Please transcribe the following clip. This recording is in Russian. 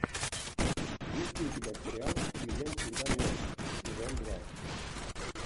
есть ли у тебя сериал клиент всегда мертв сезон два